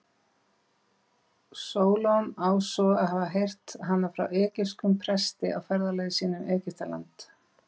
Sólon á svo að hafa heyrt hana frá egypskum presti á ferðalagi sínu um Egyptaland.